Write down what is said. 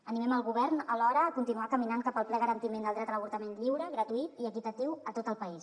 animem el govern alhora a continuar caminant cap al ple garantiment del dret a l’avortament lliure gratuït i equitatiu a tot el país